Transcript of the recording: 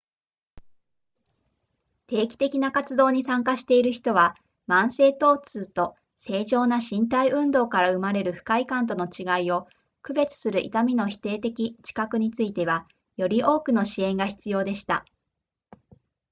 定期的な活動に参加している人は慢性疼痛と正常な身体運動から生まれる不快感との違いを区別する痛みの否定的知覚についてはより多くの支援が必要でした